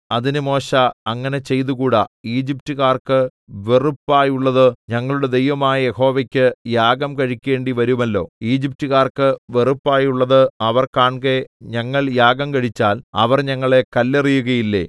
അതിന് മോശെ അങ്ങനെ ചെയ്തുകൂടാ ഈജിപ്റ്റുകാർക്ക് വെറുപ്പായുള്ളത് ഞങ്ങളുടെ ദൈവമായ യഹോവയ്ക്ക് യാഗം കഴിക്കേണ്ടിവരുമല്ലോ ഈജിപ്റ്റുകാർക്ക് വെറുപ്പായുള്ളത് അവർ കാൺകെ ഞങ്ങൾ യാഗം കഴിച്ചാൽ അവർ ഞങ്ങളെ കല്ലെറിയുകയില്ലേ